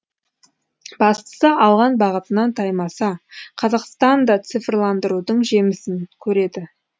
бастысы алған бағытынан таймаса қазақстан да цифрландырудың жемісін көреді